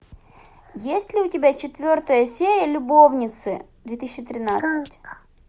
есть ли у тебя четвертая серия любовницы две тысячи тринадцать